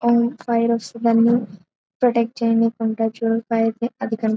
fire వస్తదండి protect చేయనికి ఉంటది చూడు ఫైర్ ని అది కన్ --